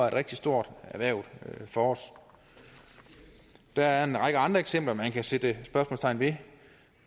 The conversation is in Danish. et rigtigt stort erhverv for os der er en række andre eksempler man kan sætte spørgsmålstegn ved